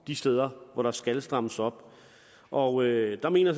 de steder hvor der skal strammes op og der mener